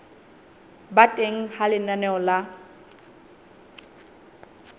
ba teng ha lenaneo la